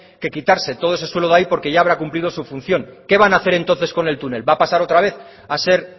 que quitarse todo ese suele de ahí porque ya habrá cumplido su función qué van a hacer entonces con el túnel va a pasar otra vez a ser